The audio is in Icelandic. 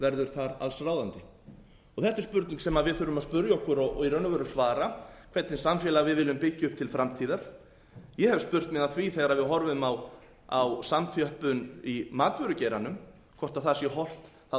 verður þar allsráðandi þetta er spurning sem við þurfum að spyrja okkur og í raun og veru svara hvernig samfélag við viljum byggja upp til framtíðar ég hef spurt mig að því þegar við horfum á samþjöppun í matvörugeiranum hvort það sé hollt það